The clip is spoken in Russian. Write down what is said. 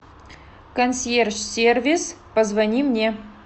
консьерж сервис позвони мне